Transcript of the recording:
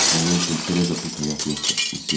Mənim üçün Terezasız həyat yoxdur, Msye.